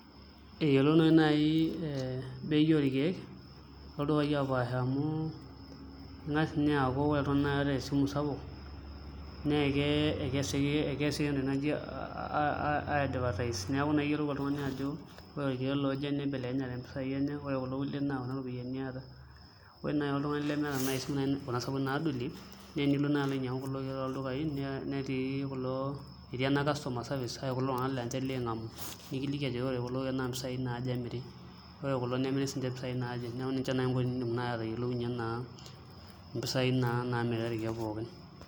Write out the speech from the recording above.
Eyiolounoyu naai bei orkeek toldukai opaasha amu ing'as aaku ore oltung'ani oota esimu sapuk naa keesi entoki naji aiadvertise neeku eyiolou oltung'ani ajo ore irkeek looje nibelekenyate impisaai enye ore kulo kulie naa kuna ropiyiani eeta ore oltung'ani naai lemeeta isimuui kuna sapukin naadolie naa enilo naa ainying'u kulo keek toldukai etii naa ake kulo ,etii ena customer service laa inche liking'amu nikiliki ajo ore kulo keek naa mpisaai naaje emiri ore kulo nemiri siinche impisai naaje, neeku ninche naai enkoitoi niidim naa atayiolounyie mpisaaii naa naamiri irkeek pookin.